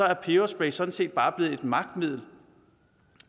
er peberspray sådan set bare blevet et magtmiddel